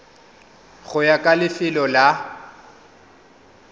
go ya ka lefelo la